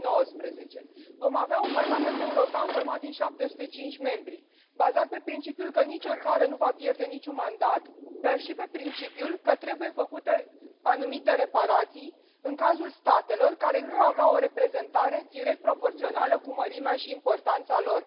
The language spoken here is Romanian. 2019. Vom avea un Parlament European format din 705 membri, bazat pe principiul conform căruia nicio țară nu va pierde niciun mandat, dar și pe principiul conform căruia trebuie făcute anumite reparații în cazul statelor care nu aveau o reprezentare direct proporțională cu mărimea și importanța lor.